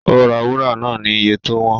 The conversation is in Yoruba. Ó ra wúrà náà ni iye tó wọ́n